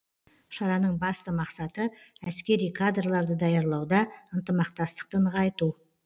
шараның басты мақсаты әскери кадрларды даярлауда ынтымақтастықты нығайту